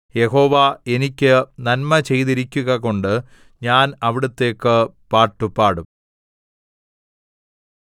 യഹോവ എനിക്ക് നന്മ ചെയ്തിരിക്കുകകൊണ്ട് ഞാൻ അവിടുത്തേക്ക് പാട്ടുപാടും